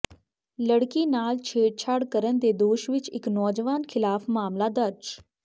ਲੜਕੀ ਨਾਲ ਛੇੜਛਾੜ ਕਰਨ ਦੇ ਦੋਸ਼ ਵਿਚ ਇਕ ਨੌਜਵਾਨ ਖਿਲਾਫ ਮਾਮਲਾ ਦਰਜ